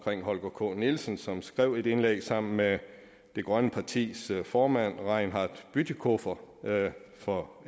holger k nielsen som skrev et indlæg sammen med det grønne partis formand reinhard bütikofer for